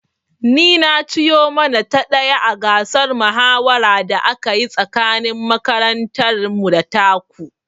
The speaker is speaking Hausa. Ni na ci yo mana ta ɗaya a gasar mahawara da aka yi tsakanin makarantar mu da ta ku